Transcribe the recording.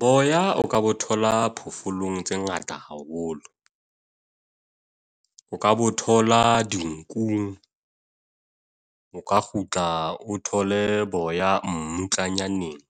Boya o ka bo thola diphoofolong tse ngata haholo. O ka bo thola di nkung. O ka kgutla o thole boya, mmutlanyaneng.